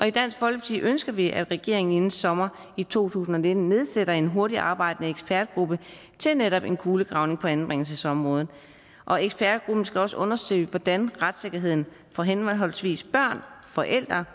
i dansk folkeparti ønsker vi at regeringen inden sommeren to tusind og nitten nedsætter en hurtigtarbejdende ekspertgruppe til netop en kulegravning på anbringelsesområdet og ekspertgruppen skal også undersøge hvordan retssikkerheden for henholdsvis børn forældre